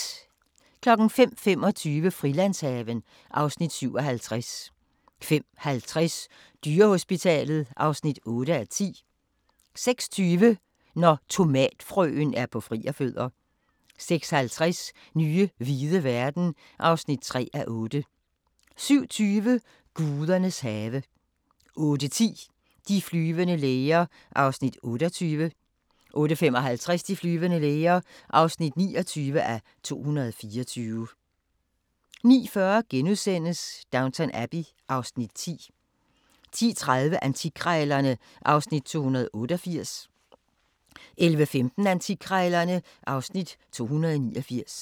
05:25: Frilandshaven (Afs. 57) 05:50: Dyrehospitalet (8:10) 06:20: Når tomatfrøen er på frierfødder 06:50: Nye hvide verden (3:8) 07:20: Gudernes have 08:10: De flyvende læger (28:224) 08:55: De flyvende læger (29:224) 09:40: Downton Abbey (Afs. 10)* 10:30: Antikkrejlerne (Afs. 288) 11:15: Antikkrejlerne (Afs. 289)